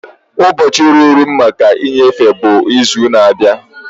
Ụbọchị ruru m maka nnyefe bụ izu na-abịa.